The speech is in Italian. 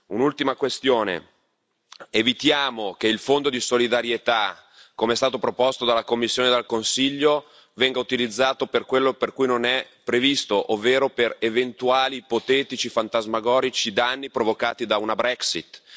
Un'ultima questione evitiamo che il fondo di solidarietà, come è stato proposto dalla Commissione e dal Consiglio, venga utilizzato per quello per cui non è previsto, ovvero per eventuali ipotetici fantasmagorici danni provocati da una Brexit.